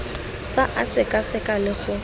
fa a sekaseka le go